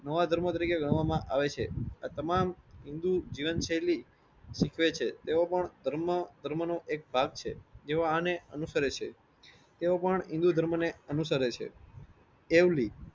નવા ધર્મો તરીકે ગણવા માં આવે છે. આ તમામ હિન્દૂ જીવન શૈલી શીખવે છે. તેઓ પણ ધર્મ ધર્મ નો એક ભાગ છે. જેઓ આને અનુસરે છે.